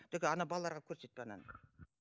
только ана балаларға көрсетпе ананы